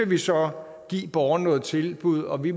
vi så give borgerne nogle tilbud og at vi